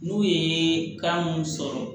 N'u ye kan mun sɔrɔ